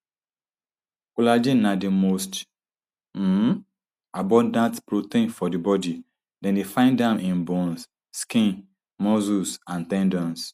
collagen na di most um abundant protein for di body dem dey find am in bones skin muscles and ten dons